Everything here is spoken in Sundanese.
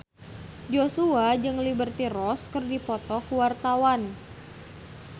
Joshua jeung Liberty Ross keur dipoto ku wartawan